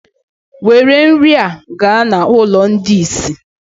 nwèrè nrị a ga na ụlọ ndi isé!